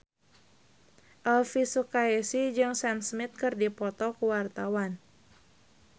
Elvi Sukaesih jeung Sam Smith keur dipoto ku wartawan